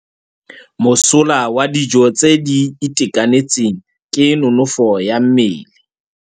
Mosola wa dijô tse di itekanetseng ke nonôfô ya mmele.